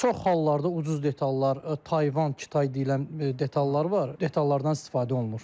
Çox hallarda ucuz detallar Tayvan, Kitay deyilən detallar var, detallardan istifadə olunur.